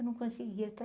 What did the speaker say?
Eu não conseguia.